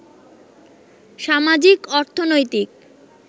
সামাজিক, অর্থনৈতিক